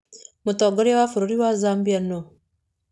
Mũtongoria wa bũrũri wa Zambia nũ?